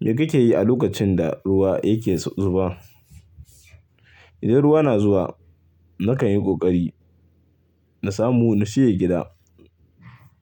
Me kake yi a lokacin da ruwa yake zuba? Idan ruwa na zuwa, na kan yi ƙoƙari na samu na shige gida